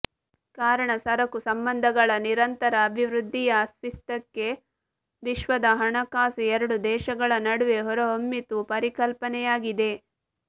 ಕಾರಣ ಸರಕು ಸಂಬಂಧಗಳ ನಿರಂತರ ಅಭಿವೃದ್ಧಿಯ ಅಸ್ತಿತ್ವಕ್ಕೆ ವಿಶ್ವದ ಹಣಕಾಸು ಎರಡು ದೇಶಗಳ ನಡುವೆ ಹೊರಹೊಮ್ಮಿತು ಪರಿಕಲ್ಪನೆಯಾಗಿದೆ